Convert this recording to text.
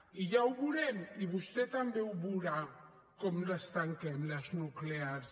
i ja ho veurem i vostè també ho veurà com les tanquem les nuclears